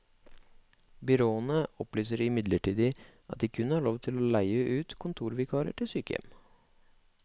Byråene opplyser imidlertid at de kun har lov til å leie ut kontorvikarer til sykehjem.